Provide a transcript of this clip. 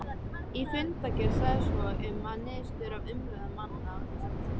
Í fundargerð sagði svo um niðurstöðu af umræðum manna